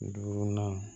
Duurunan